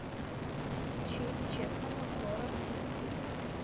включи честного город не спит